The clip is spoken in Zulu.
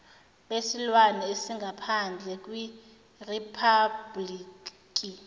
besilwane esingaphandle kweriphabhuliki